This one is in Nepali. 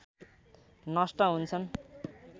नष्ट हुन्छन्